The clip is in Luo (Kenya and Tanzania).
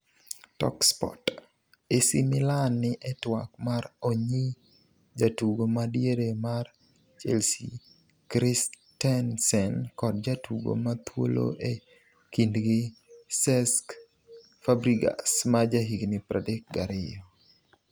(Talksport) AC Milan ni e twak mar onyi jatugo ma diere mar Chelsea Christensen kod jatugo mathuolo e kindgi Cesc Fabregas, ma jahigni 32.